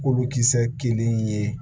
Kolokisɛ kelen ye